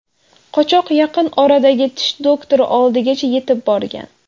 Qochoq yaqin oradagi tish doktori oldigacha yetib borgan.